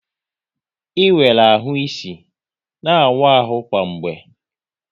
Ị nwere ahụ isi, na awụ ahụ kwa mgbe!